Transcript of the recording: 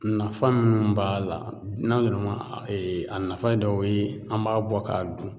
Nafa minnu b'a la n'an yɛrɛ ma nafayi dɔw ye an b'a bɔ k'a dun